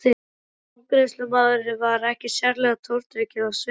En afgreiðslumaðurinn var ekkert sérlega tortrygginn á svipinn.